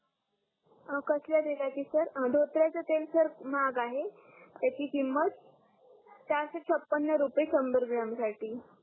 अं कसल्या तेलाची सर अं धोत्र्याच तेल सर महाग आहे त्याची किमत चारसे छप्पन रुपये संभर ग्रॉम साठी